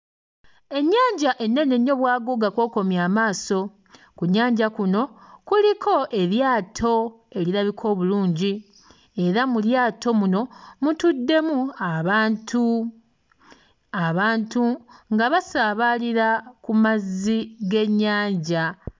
Ennyanja ennene ennyo bwaguuga kw'okomya amaaso, ku nnyanja kuno kuliko eryato erirabika obulungi era mu lyato muno mutuddemu abantu, abantu nga basaabaalira ku mazzi g'ennyanja.